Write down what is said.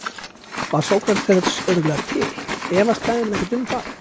Var Sókrates örugglega til, efast fræðimenn ekkert um það?